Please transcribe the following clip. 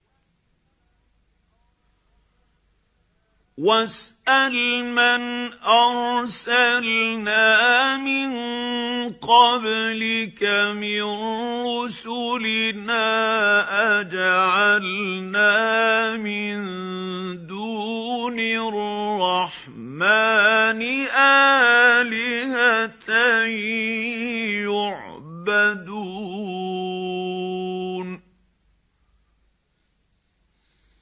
وَاسْأَلْ مَنْ أَرْسَلْنَا مِن قَبْلِكَ مِن رُّسُلِنَا أَجَعَلْنَا مِن دُونِ الرَّحْمَٰنِ آلِهَةً يُعْبَدُونَ